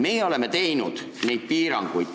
Meie oleme neid piiranguid teinud.